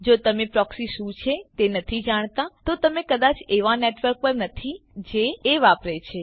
જો તમે પ્રોક્સી શું છે તે નથી જાણતા તો તમે કદાચ એવાં નેટવર્ક પર નથી જે એ વાપરે છે